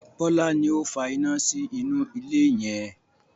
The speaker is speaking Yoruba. Bọlá ni ó fa iná sí inú ilé yẹn